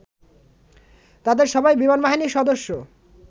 তাদের সবাই বিমানবাহিনীর সদস্য